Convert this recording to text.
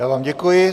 Já vám děkuji.